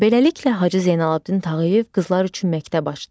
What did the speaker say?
Beləliklə Hacı Zeynalabdin Tağıyev qızlar üçün məktəb açdı.